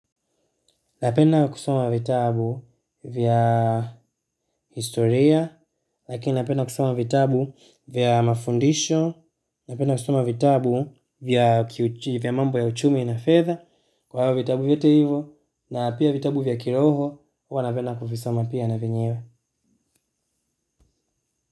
Napenda kusoma vitabu vya historia, lakini napenda kusoma vitabu vya mafundisho, napenda kusoma vitabu vya vya mambo ya uchumi na fedha, kwa vitabu vyote hivo, na pia vitabu vya kiroho, huwa napenda kuvisoma pia na venyewe.